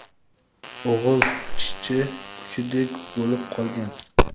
o‘g‘il — ishchi kuchidek bo‘lib qolgan.